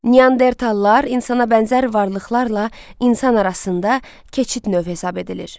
Neandertallar insana bənzər varlıqlarla insan arasında keçid növ hesab edilir.